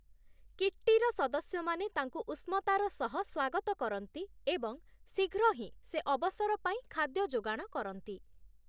କିଟ୍ଟିର ସଦସ୍ୟମାନେ ତାଙ୍କୁ ଉଷ୍ମତାର ସହ ସ୍ୱାଗତ କରନ୍ତି ଏବଂ ଶୀଘ୍ର ହିଁ ସେ ଅବସର ପାଇଁ ଖାଦ୍ୟ ଯୋଗାଣ କରନ୍ତି ।